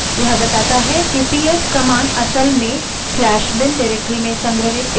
यह बताता है कि ps कमांड असल में स्लैश bin bin directory में संग्रहित एक file है